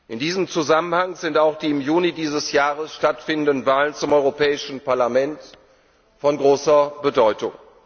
In diesem Zusammenhang sind auch die im Juni dieses Jahres stattfindenden Wahlen zum Europäischen Parlament von großer Bedeutung.